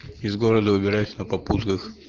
из города выбираюсь на попутках